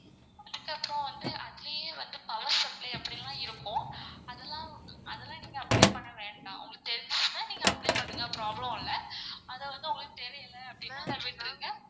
அதுக்கப்பறம் வந்து அதுலயே வந்து power supply அப்டில்லாம் இருக்கும். அதலான் அதலான் நீங்க apply பண்ண வேண்டாம். உங்களுக்கு தெரிஞ்சிச்சினா நீங்க apply பண்ணுங்க problem இல்ல அது வந்து உங்களுக்கு தெரியல அப்டின்னா விட்ருங்க.